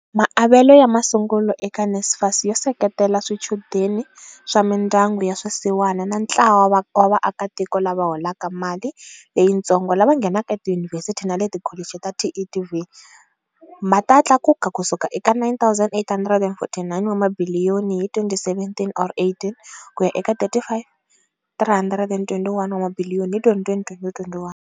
Maavelo ya masungulo eka NSFAS yo seketela swichudeni swa mindyangu ya swisiwana na ntlawa wa vaakitiko lava holaka mali leyitsongo lava nghenaka etiyunivhesiti na le tikholichi ta TVET ma ta tlakuka ku suka eka R9, 849 wa mabiliyoni hi 2017 or 18 ku ya eka R35, 321 wa mabiliyoni hi 2020 - 2021.